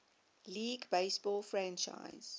league baseball franchise